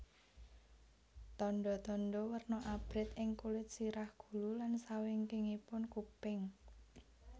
Tandha tandha werna abrit ing kulit sirah gulu lan sawingkingipun kuping